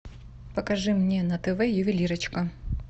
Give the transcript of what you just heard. покажи мне на тв ювелирочка